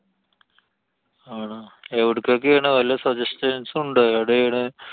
ആണോ? എവിടേക്കൊക്കെയാണ്? വല്ല suggestions ഉണ്ടാ? എവിടാണ്.